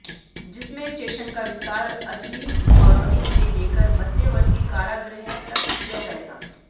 जिसमें स्टेशन का विस्तार अजनी कॉलोनी से लेकर मध्यवर्ती कारागृह तक किया जाएगा